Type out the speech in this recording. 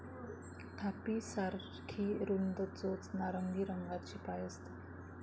थापी सारखी रुंद चोच नारंगी रंगाचे पाय असतात.